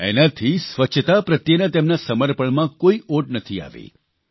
પરંતુ એનાથી સ્વચ્છતા પ્રત્યેના તેમના સમર્પણમાં કોઇ ઓટ નથી આવી